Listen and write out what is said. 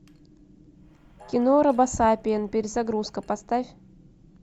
кино робосапиен перезагрузка поставь